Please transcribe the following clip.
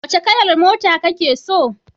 Wace kalar mota kake so?